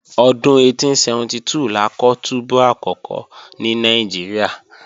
Ọdún 1872 la kọ́ túbú àkọ́kọ́ ní Nàìjíríà